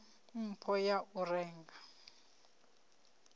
nekedza mpho ya u renga